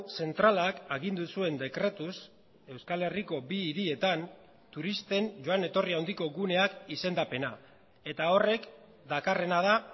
zentralak agindu zuen dekretuz euskal herriko bi hirietan turisten joan etorri handiko guneak izendapena eta horrek dakarrena da